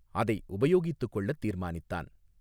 அதை உபயோகித்துக் கொள்ளத் தீர்மானித்தான்.